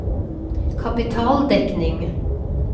kapitaldekning